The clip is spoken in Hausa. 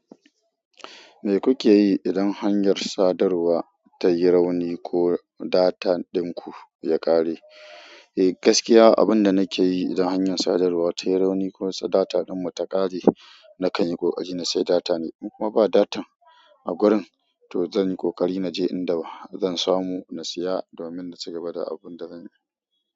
Me kuke yi idan hanyar sadarwa ta yi rauni ko data dinku ya ƙare? Eh, gaskiya abin da nake yi idan hanyar sadarwa ta yi rauni ko data ɗinmu ta ƙare, na kan yi ƙoƙari na sayi data ne. In kuma ba data a gurin, to zan yi ƙoƙari na je inda zan samu na siya domin na ci gaba da abun da zan yi.